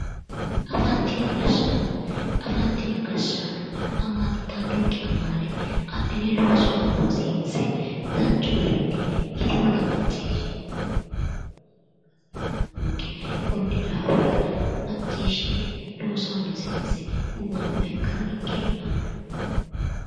Afantino gashshaano afantino gashshaano amaaltannonke amaale adhine loosu aana hosiinse danchu garinni yiteyoota macciishshine konni daafira macciishshine gumaamma ikka ninke la'anno